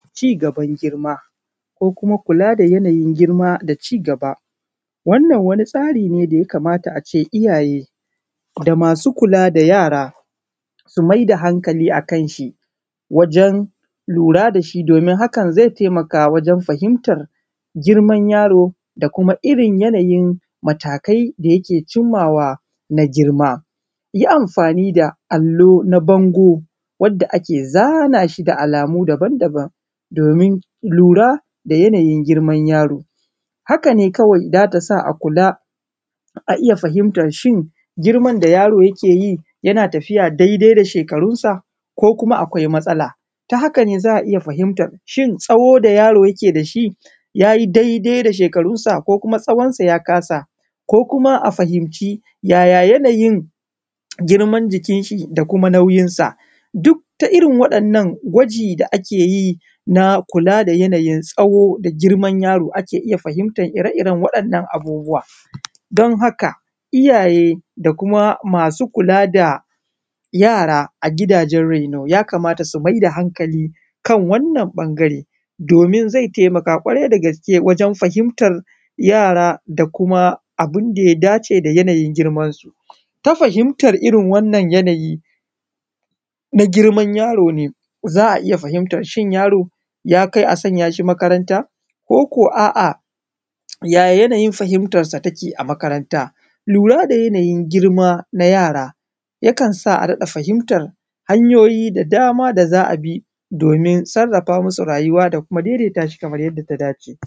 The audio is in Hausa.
Ci gaban girma ko kuma kula da yanayin girma da ci gaba, wannan wani tsari ne da ya kamata ace iyaye da masu kula da yara su mai da hankali a kanshi wajen lura da shi domin haka zai taimaka wajen fahintar girman yaro da kuma irin yanayin matakai da yake cimma wan a girma, yi amfani da allo na bango wanda ake zana shi da alamu daban-daban domin lura da yanayin girman yaro haka ne kawai zata sa a kula a iya fahimtar shin girman da yaro yake yi yana tafiya daidai da shekarun sa ko kuma akwai matsala ta haka ne za a iya fahimta tsawon da yaro yake da shi yayi daidai da shekarunsa ko kuma tsawonsa ya kasa, ko kuma a fahimci yaya yanayin girman jikin shi da kuma nauyin sa, duk ta irin waɗannan gwaji da ake yin a kula da yanayin tsawo da girman yaro ake iya fahimtar waɗannan abubuwa, don haka iyaye da kuma masu kula da yara a gidajen masu raino ya kamata su mai da hankali kan wannan ɓangare domin zai taimaka ƙwarai da gaske wajen fahimtar yara da kuma abun da ya dace da yanayin girmansu, ta fahimar irin wannan yanayi na girman yaro ne za a iya fahimar cin yaro yakai a sanya shi makaranta ko ko a’a yaya yanayin fahimtar sa yake a makaranta lura da yanayin girma na yara yakansa a rika fahimtar hanyoyi da dama da za a bi domin sarafa masu rayuwa da kuma daidata shi kamar yadda ta dashe.